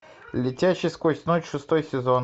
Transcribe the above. летящий сквозь ночь шестой сезон